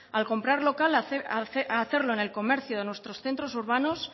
al comprar local hacerlo en el comercio de nuestros centros urbanos